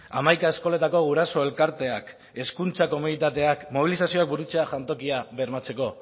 hamaika eskoletako guraso elkarteak hezkuntza komunitateak mobilizazioa burutzea jantokia bermatzeko